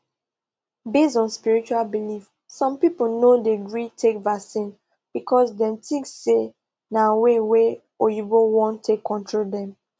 based on spiritual belief some people no dey gree take vaccine because dem think say na way wa oyinbo wan take control dem